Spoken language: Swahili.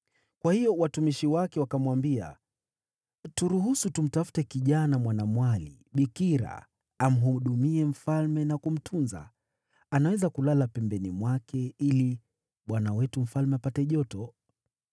Kwa hiyo watumishi wake wakamwambia, “Turuhusu tumtafute kijana mwanamwali bikira amhudumie mfalme na kumtunza. Anaweza kulala pembeni mwake ili bwana wetu mfalme apate joto.”